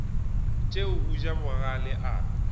tšeo a ja bogale a